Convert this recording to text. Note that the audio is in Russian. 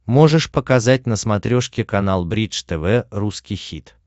можешь показать на смотрешке канал бридж тв русский хит